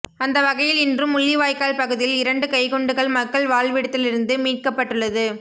அந்தவகையில் இன்றும் முள்ளிவாய்க்கால் பகுதியில் இரண்டு கைக்குண்டுகள் மக்கள் வாழ்விடத்திலிருந்து மீட்கப்பட்டுள்ளது